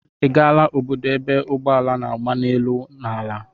Ị gaala obodo ebe ụgbọala na-agba n'elu na ala?